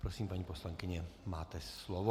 Prosím, paní poslankyně, máte slovo.